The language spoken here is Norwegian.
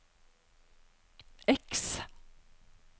X